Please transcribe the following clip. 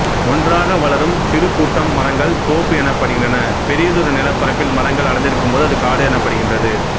ஒன்றாக வளரும் சிறு கூட்டம் மரங்கள் தோப்பு எனப்படுகின்றன பெரியதொரு நிலப்பரப்பில் மரங்கள் அடர்ந்திருக்கும்போது அது காடு எனப்படுகின்றது